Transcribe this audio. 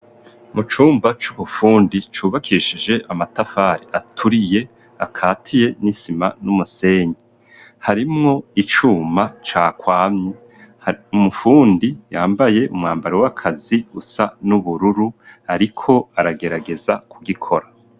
Mu cumba c'ubufundi cubakishije amatafari aturiye akatiye n'isima n'umusenyi harimwo icuma cakwamye. Umufundi yambaye umwambaro w'akazi usa n'ubururu ariko aragerageza kugikora.